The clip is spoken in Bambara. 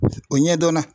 O ɲɛdɔnna